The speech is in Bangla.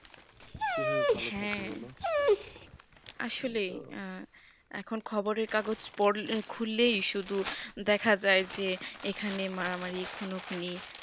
কিভাবে ভালো থাকবো বলো হ্যা আসলে আঃ এখন খবরের কাগজ পড়লে খুললেই দেখা যাই যে এখানে মারা মারি খুনো খুনি